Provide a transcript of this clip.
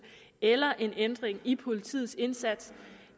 eller en ændring i politiets indsats